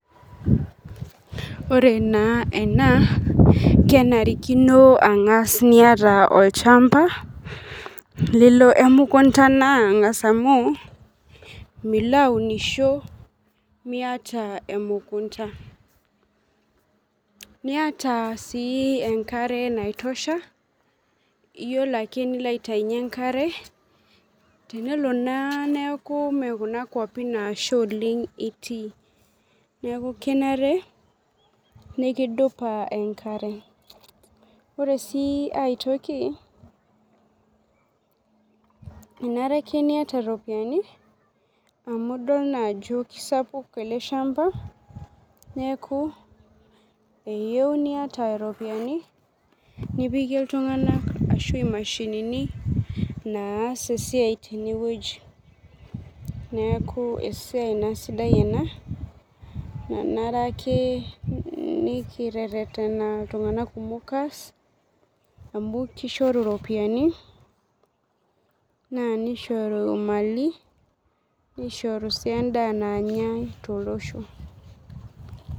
Ore na ena kenarikino angas niata olchamba nelo amu milaunisho miata emukunda niata si enkare naitosha iyolo ake enilo aitaunye enkare tenelo na neaku nkwapi nemesha itii neaku kenare nikidupa enkare, ore ai toki kenare ake niata ropiyani amu idol na ajo kesapuk eleshamba neaku eyieu niata ropiyani nipikie ltunganak ashu imashinini naas esiai tenewueji neaku esiai sidae ake ena nanare nikiterena ltunganak kumok aas amu kishoru ropiyani nishoru mali na kishoru endaa nanyae tolosho.